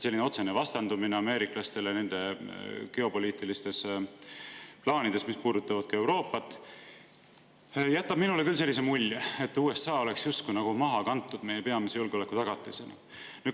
Selline otsene vastandumine ameeriklaste geopoliitilistele plaanidele, mis puudutavad ka Euroopat, jätab minule küll sellise mulje, et USA meie peamise julgeolekutagatisena oleks justkui maha kantud.